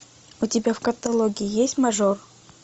у тебя в каталоге есть мажор